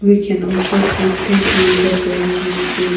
we can also see three pink bottle which still--